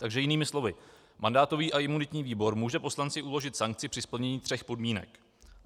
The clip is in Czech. Takže jinými slovy, mandátový a imunitní výbor může poslanci uložit sankci při splnění tří podmínek.